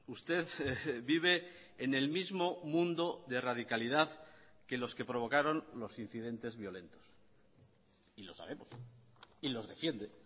usted vive en el mismo mundo de radicalidad que los que provocaron los incidentes violentos y lo sabemos y los defiende